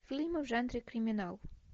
фильмы в жанре криминал